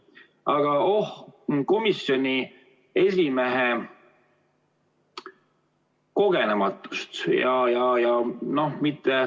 Aga oh seda komisjoni esimehe kogenematust!